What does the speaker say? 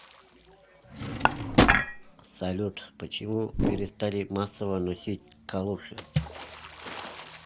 салют почему перестали массово носить калоши